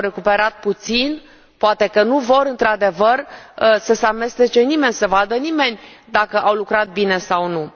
Au recuperat puțin? Poate că nu vor, într adevăr, să se amestece nimeni, nu doresc să vadă nimeni dacă au lucrat bine sau nu.